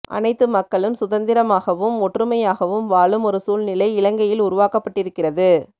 அனைத்து மக்களும் சுதந்திரமாகவும் ஒற்றுமையாகவும் வாழும் ஒரு சூழ்நிலை இலங்கையில் உருவாக்கப்பட்டிருக்கிறது